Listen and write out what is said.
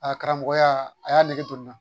A karamɔgɔya a y'a nɛgɛ to n na